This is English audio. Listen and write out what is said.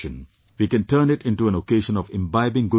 We can turn it into an occasion of imbibing good values